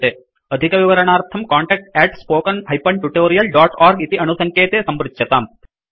अधिकविवरणार्थं contact spoken tutorialorg इति अणुसङ्केते सम्पृच्यताम्